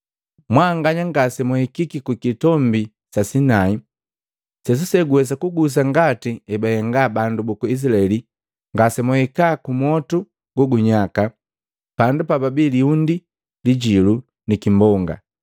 Mbanganya ngase mwahikiki ku kitombi sa sinai, sesuse guwesa kugusa ngati ebahenga bandu buku Izilaeli ngase mwahika ku motu go gunyaka, pandu pa pabii liundi lijilu ni kimbonga,